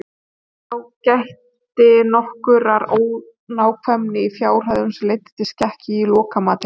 þá gætti nokkurrar ónákvæmni í fjárhæðum sem leiddu til skekkju í lokamatinu